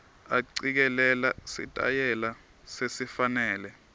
acikelela sitayela lesifanele